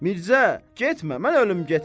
Mirzə, getmə, mən ölüm, getmə.